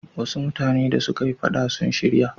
Wasu mutane da suka yi faɗa sun shirya.